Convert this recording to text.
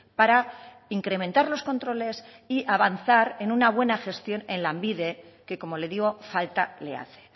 para incrementar los controles y avanzar en una buena gestión en lanbide que como le digo falta le hace